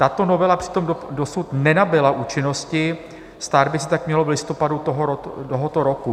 Tato novela přitom dosud nenabyla účinnosti, stát by se tak mělo v listopadu tohoto roku.